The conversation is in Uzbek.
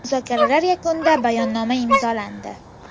Muzokaralar yakunida bayonnoma imzolandi.